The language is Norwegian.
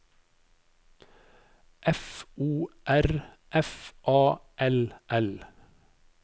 F O R F A L L